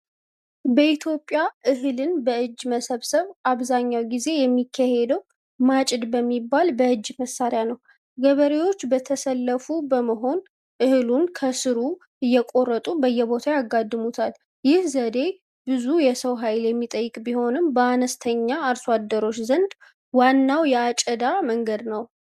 በኢትዮጵያ እህልን በእጅ መሰብሰብ አብዛኛው ጊዜ የሚካሄደው ማጭድ በሚባል በእጅ መሣሪያ ነው። ገበሬዎች በተሰለፉ በመሆን እህሉን ከሥሩ እየቆረጡ በየቦታው ያጋድሙታል። ይህ ዘዴ ብዙ የሰው ኃይል የሚጠይቅ ቢሆንም፣ በአነስተኛ አርሶ አደሮች ዘንድ ዋናው የአጨዳ መንገድ ነው።